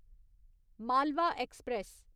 Malwa express